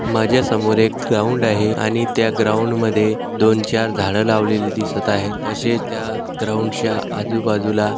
माझ्या समोर एक ग्राऊंड आहे आणि त्या ग्राऊंडमद्धे दोन-चार झाड लावलेले दिसत आहे तसेच त्या ग्राऊंडच्या आजूबाजूला--